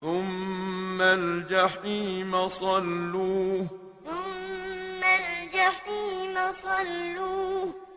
ثُمَّ الْجَحِيمَ صَلُّوهُ ثُمَّ الْجَحِيمَ صَلُّوهُ